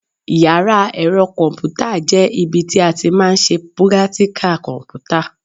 Yàrá ẹ̀rọ kọ̀m̀pútà jẹ́ ibi tí a ti máa ń ṣe prátíkà kọ̀m̀pútà.